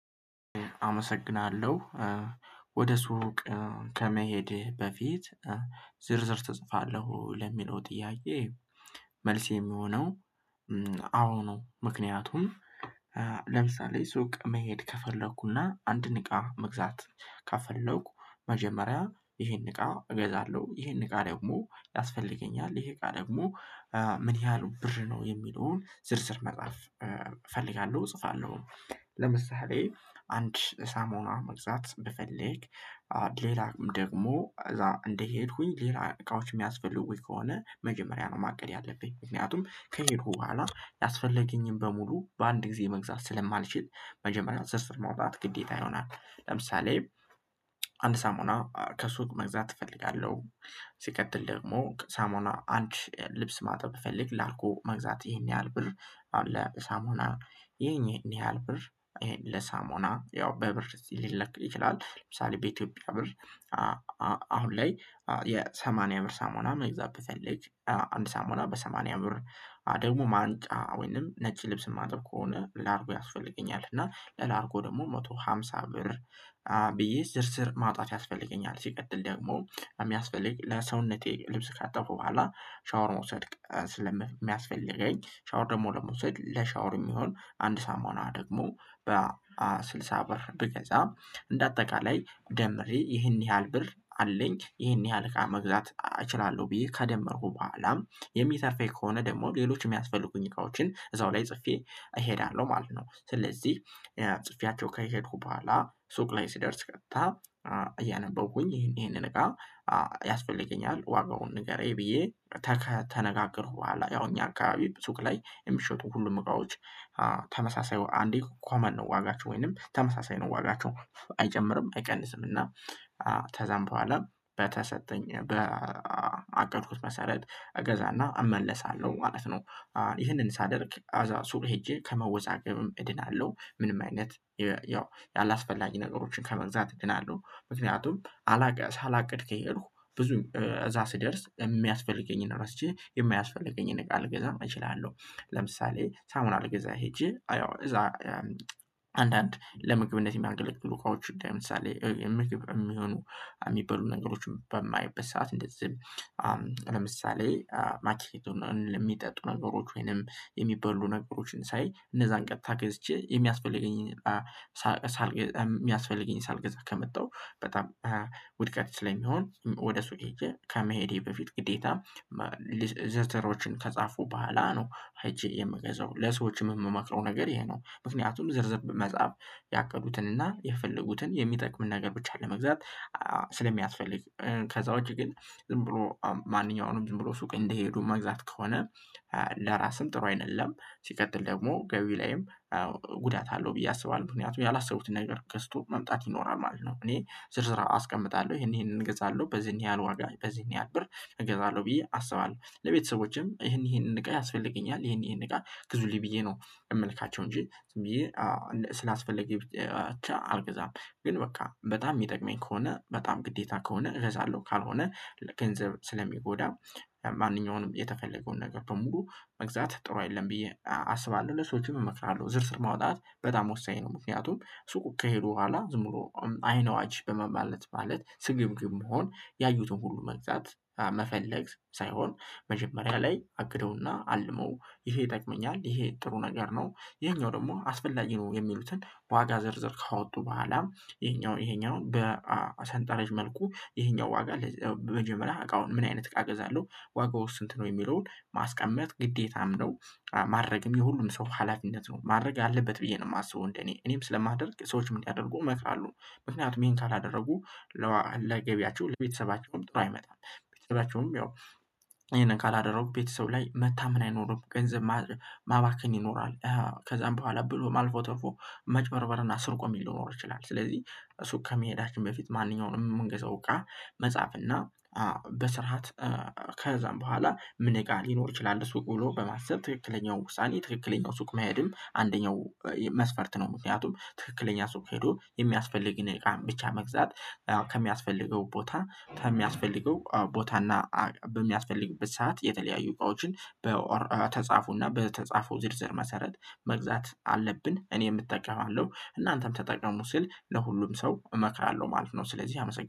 አመሰግናለሁ። ወደ ሱቅ ከመሄድ በፊት ዝርዝር ተጽፋለሁ ለሚለው ጥያዬ? መልሴ የሚሆነው አዎ ነው። ምክንያቱም ለምሳሌ ሱቅ መሄድ ከፈለኩና አንድ ንቃ መግዛት ካፈለኩ መጀመሪያ ይሄን እቃ እገዛለሁ ይሄን እቃ ደግሞ ያስፈልገኛል ይሄ እቃ ደግሞ ምን ያህል ብር ነው የሚለውን ዝርዝር መጽሐፍ እፈልጋለሁ እጽፋለሁ። ለምሳሌ አንድ ሳሞና መግዛት ብፈልግ ሌላ ደግሞ እዛ እንደሄድኩኝ ሌላ እቃዎች የሚያስፈልጉኝ ከሆነ መጀመሪያ ነው ማቀድ ያለብኝ ምክንያቱም ከሄድኩ በኋላ ያስፈለገኝን በሙሉ በአንድ ጊዜ መግዛት ስለማልችል መጀመሪያ ዘርዝር መውጣት ግዴታ ይሆናል። ለምሳሌ አንድ ሳሞና መግዛት እፈልጋለሁ። ሲቀጥል ደግሞ ሳሞና አንቺ ልብስ ማጥበብ እፈልግ ላልኩህ መግዛት ይሄን ያህል ብር አሁን ለሳሞና ይሄን ያህል ብር ለሳሞና ያው በብር ሊለክ ይችላል ለምሳሌ በኢትዮጵያ ብር አሁን ላይ የሰማንያ ብር ሳሞና መግዛት በፈለግ አንድ ሳሞና በሰማንያ ብር ደግሞ ማንጫ ወይንም ነጭ ልብስ የማጥብ ከሆነ ላርጎ ያስፈልገኛል እና ለላርጎ ደግሞ መቶ ሃምሳ ብር ብር ብዬ ዝርዝር ማጣት ያስፈልገኛል። ሲቀጥል ደግሞ የሚያስፈልግ ለሰውነቴ ልብስ ካጠፉ በኋላ ሻወር መውሰድ ስለሚያስፈልገኝ ሻወር ደግሞ ለመውሰድ ለሻወር የሚሆን አንድ ሳሙና ደግሞ በስልሳ ብር ብገዛ እንደ አጠቃላይ ደምሬ ይህን ያህል ብር አለኝ ይህን ያህል እቃ መግዛት እችላለሁ ብዬ ከደመርኩ በኋላ የሚተፋኝ ከሆነ ደግሞ ሌሎች የሚያስፈልጉኝ እቃዎችን እዛው ላይ ጽፌ እሄዳለሁ ማለት ነው። ስለዚህ ጽፌያቸው ከሄድኩ በኋላ ሱቅ ላይ ሲደርስ ቀጥታ እያነበብኩኝ ይሄንን እቃ ያስፈልገኛል ዋጋውን ንገረኝ ብዬ ተነጋገርኩ በኋላ ያው እኛ አካባቢ ብዙክ ላይ የሚሸጡ ሁሉም እቃዎች ተመሳሳይ አንዴ እንኳን ማነው ዋጋችሁ ወይንም ተመሳሳይ ነው ዋጋችሁ አጨምርም አይቀንስም እና ተዘንበዋለም በተሰጠኝ በአቀድኩት መሰረት እገዛና እመለሳለሁ ማለት ነው። ይህንን ሳደርግ አዛ ሱር ሄጄ ከመወዛገብም እድናለሁ ምንም አይነት ያው ያላስፈላጊ ነገሮችን ከመግዛት እድናለሁ። ምክንያቱም አላቅስ ሳላቅድ ከሄድኩ ብዙ እዛ ስደርስ የሚያስፈልገኝን ራስቸ የማያስፈልገኝን እቃ ልገዛ እችላለሁ። ለምሳሌ ሳሙና አልገዛ ሄጄ አያው እዛ አንዳንድ ለምግብነት የሚያንገለግሉ ካውች ምሳሌ የሚግብ የሚሆኑ የሚበሉ ነገሮችን በማየበት ሰዓት እንደዚህም ለምሳሌ ማኪሊቱን ለሚጠጡ ነገሮች ወይንም የሚባሉ ነገሮችን ሳይ እነዛን ቀጥታ ገዝቼ የሚያስፈልገኝን ሳልገዛ ከመጣሁ በጣም ውድቀት ስለሚሆን ወደ ሱቅ ሄጄ ከመሄዴ በፊት ግዴታ ዘርዘሮችን ከጻፉ ባህላ ነው። አይቼ የምገዛው ለሰዎችም የምመክረው ነገር ይሄ ነው። ምክንያቱም ዝርዝብ መጽሐፍ ያቀዱትንና የፈለጉትን የሚጠቅም ነገር ብቻ ለመግዛት ስለሚያስፈልግ ከዛ ውጪ ግን ዝም ብሎ ማንኛውንም ዝም ብሎ ሱቅ እንደሄዱ መግዛት ከሆነ ለራስም ጥሩ አይደለም። ሲቀጥል ደግሞ ገቢ ላይም ጉዳት አለው ብዬ አስባለሁ ምክንያቱም ያላሰቡትን ነገር ገዝቶ መምጣት ይኖራል ማለት ነው። እኔ ዝርዝር አስቀምጣለሁ ይሄንን እገዛለሁ በዚህን ያህል ወጋ በዚህን ያህል ብር እገዛለሁ ብዬ አስባለሁ ለቤተሰቦችም ይሄንን እቃ ያስፈልገኛል ይሄን ይሄን እቃ ግዙል ብዬ ነው የምልካቸው እንጂ ብዬ ስላስፈለገኝ ብቻ አልገዛም ግን በቃ በጣም የሚጠቅመኝ ከሆነ በጣም ግዴታ ከሆነ እረሳለሁ ካልሆነ ለገንዘብ ስለሚጎዳ ማንኛውንም የተፈለገውን ነገር በሙሉ መግዛት ጥሩ አይደለም ብዬ አስባለሁ። ለሰዎችም እመክራለሁ ዝርዝር ማውጣት በጣም ወሳኝ ነው። ምክንያቱም ሱቁ ከሄዱ በኋላ ዝም ብሎ አይነዋጅ በመባለት ማለት ስግብግብ መሆን ያዩትን ሁሉ መግዛት መፈለግ ሳይሆን መጀመሪያ ላይ አግደውና አልመው ይሄ ይጠቅመኛል ይሄ ጥሩ ነገር ነው። ይሄኛው ደግሞ አስፈላጊ ነው የሚሉትን ዋጋ ዘርዘር ከወጡ በኋላ ይሄኛው ይሄኛው በሰንጠረዥ መልኩ ይሄኛው ዋጋ መጀመሪያ አቃውን ምን አይነት እቃገዛለሁ ዋጋው ውስጥ ነው የሚለውን ማስቀመጥ ግዴታም ነው። ማድረግም የሁሉም ሰው ሀላፊነት ነው ማድረግ አለበት ብዬ ነው የማስበው እኔ እኔም ስለማደርግ ሰዎች ምን ያደርጉ እመክራለሁ። ምክንያቱም ይሄን ካላደረጉ ለገቢያቸው ለቤተሰባቸውም ጥሩ አይመጣም። ቤተሰባቸውም ያው ይሄንን ካላደረጉ ቤተሰብ ላይ መታመን አይኖርም ገንዘብ ማባከን ይኖራል። ከዛም በኋላ ብሎ ማልፎ ተርፎ መጭበርበር እና ስርቆ የሚል ሊኖር ይችላል። ስለዚህ ሱቅ ከመሄዳችን በፊት ማንኛውንም መንገድ አውቃ መጻፍ እና በስርዓት ከዛም በኋላ ምን ይቃል ሊኖር ይችላል? ሱቅ ብሎ በማሰብ ትክክለኛው ውሳኔ ትክክለኛው ሱቅ መሄድም አንደኛው መስፈርት ነው። ምክንያቱም ትክክለኛ ሰው ሄዶ የሚያስፈልግን ብቻ መግዛት ከሚያስፈልገው ቦታ በሚያስፈልገው ቦታና በሚያስፈልግበት ሰዓት የተለያዩ ቆይታዎችን በተጻፉና በተጻፉ ዝርዝር መሰረት መግዛት አለብን። እኔም እጠቀማለሁ እናንተም ተጠቀሙ ሲል ለሁሉም ሰው እመክራለሁ ማለት ነው። ስለዚህ አመሰግናለሁ